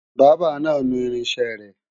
Bábà náà nu irinṣẹ́ rẹ